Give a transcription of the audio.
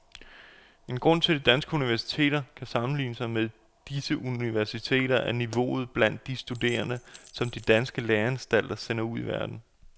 En grund til at danske universiteter kan sammenligne sig med disse universiteter er niveauet blandt de studerende, som danske læreanstalter sender ud i verden.